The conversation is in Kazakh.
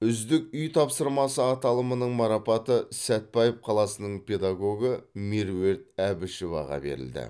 үздік үй тапсырмасы аталымының марапаты сәтбаев қаласының педагогы меруерт әбішеваға берілді